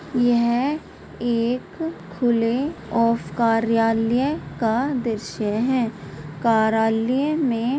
यह एक ऑफ कार्यालय का दृश्य है कार्यालय में--